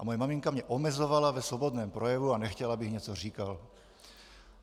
A moje maminka mě omezovala ve svobodném projevu a nechtěla, abych něco říkal.